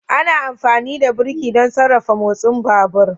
Ana amfani da birki don sarrafa motsin babur